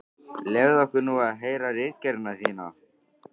Leyfðu okkur nú að heyra ritgerðina þína!